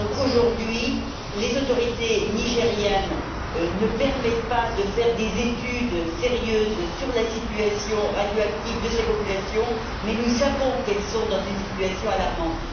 Aujourd'hui, les autorités nigérianes ne permettent pas de faire des études sérieuses sur la situation radioactive de ces populations, mais nous savons qu'elles sont dans une situation alarmante.